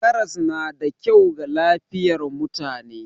Karas na da kyau ga lafiyar mutane.